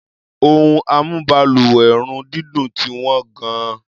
Ohun amúbalùwẹ̀-run-dídùn ti wọ́n gan-an.